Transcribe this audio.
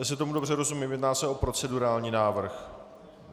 Jestli tomu dobře rozumím, jedná se o procedurální návrh.